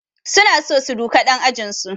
Suna so su duka ɗan ajinsu